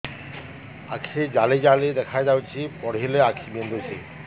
ଆଖି ଜାଲି ଜାଲି ଦେଖାଯାଉଛି ପଢିଲେ ଆଖି ବିନ୍ଧୁଛି